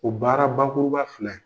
O baara bakuruba filɛ in